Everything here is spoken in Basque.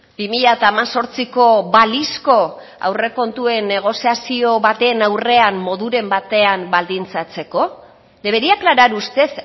bi mila hemezortziko balizko aurrekontuen negoziazio baten aurrean moduren batean baldintzatzeko debería aclarar usted